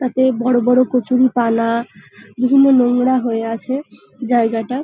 তাতে বড় বড় কচুরিপানা বিভিন্ন নোংরা হয়ে আছে জায়গাটা ।